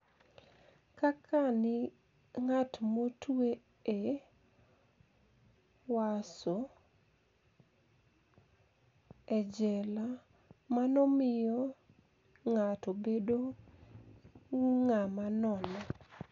Kaka nig'at motwe e kyohwaso [e jela], mano miyo nig'ato bedo nig'ama nono'